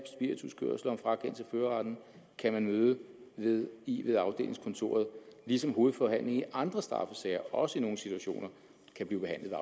førerretten kan man møde møde i ved afdelingskontoret ligesom hovedforhandlingen i andre straffesager også i nogle situationer kan blive behandlet